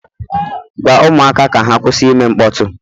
Gwa ụmụaka ka ha kwụsị ime mkpọtụ!